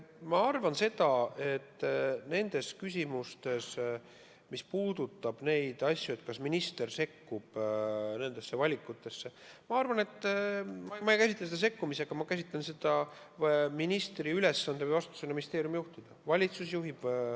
Ma arvan, et nendes küsimustes – mis puudutab seda, kas minister sekkub nendesse valikutesse – ei käsitle ma ministri tegevust sekkumisena, vaid ma käsitlen seda tema ülesande või vastutusena ministeeriumi juhtida.